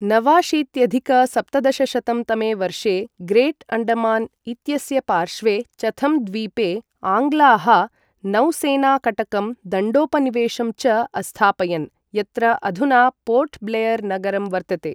नवाशीत्यधिक सप्तदशशतं तमे वर्षे ग्रेट् अण्डमान इत्यस्य पार्श्वे चथम् द्वीपे आङ्ग्लाः नौसैनाकटकं दण्डोपनिवेशं च अस्थापयन्, यत्र अधुना पोर्ट् ब्लेयर् नगरं वर्तते।